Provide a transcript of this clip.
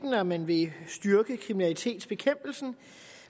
at man vil styrke kriminalitetsbekæmpelsen